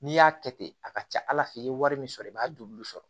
N'i y'a kɛ ten a ka ca ala fɛ i ye wari min sɔrɔ i b'a dɔn olu sɔrɔ